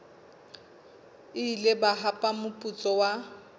ile ba hapa moputso wa